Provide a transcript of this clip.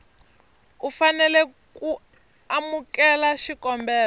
u fanela ku amukela xikombelo